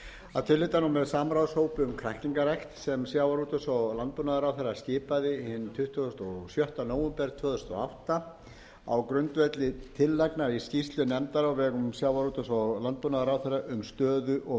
að tilhlutan og með samráðshópi um kræklingarækt sem sjávarútvegs og landbúnaðarráðherra skipaði tuttugasta og sjötta nóvember tvö þúsund og átta á grundvelli tillaga í skýrslu nefndar á vegum sjávarútvegs og landbúnaðarráðherra um stöðu og